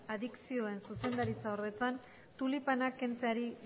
adikzioen zuzendariordetzan tulipanak kentzeari